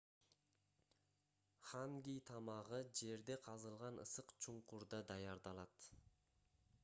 ханги тамагы жерде казылган ысык чуңкурда даярдалат